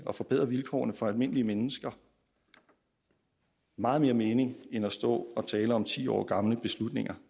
at forbedre vilkårene for almindelige mennesker meget mere mening end at stå og tale om ti år gamle beslutninger